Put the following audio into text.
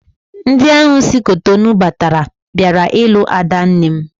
Ndị ahụ si Cotonou bata bịara ilu adanne m